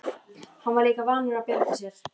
Hann var líka vanur að bjarga sér.